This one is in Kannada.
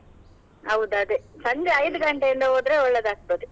ಹೌದದೇ, ಸಂಜೆ ಗಂಟೆಯಿಂದ ಹೋದ್ರೆ ಒಳ್ಳೇದಾಗ್ತದೆ.